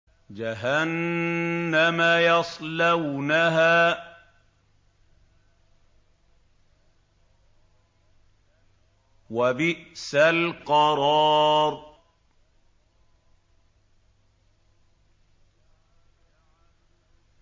جَهَنَّمَ يَصْلَوْنَهَا ۖ وَبِئْسَ الْقَرَارُ